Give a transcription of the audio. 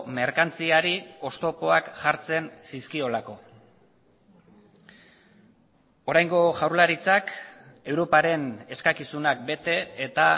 merkantziari oztopoak jartzen zizkiolako oraingo jaurlaritzak europaren eskakizunak bete eta